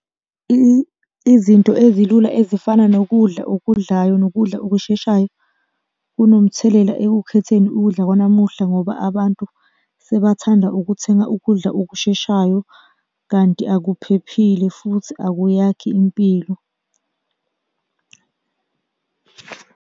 Izinto ezilula ezifana nokudla okudlayo nokudla okusheshayo kunomthelela ekukhetheni ukudla kwanamuhla, ngoba abantu sebathanda ukuthenga ukudla okusheshayo, kanti akuphephile futhi akuyakhi impilo.